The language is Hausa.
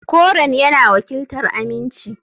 Koren yana wakiltar aminci.